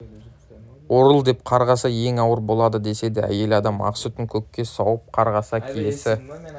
орыл деп қарғаса ең ауыр болады деседі әйел адам ақ сүтін көкке сауып қарғаса киесі